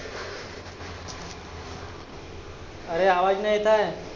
आरे आवाज नाय येत आहे.